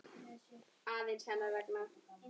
að búa.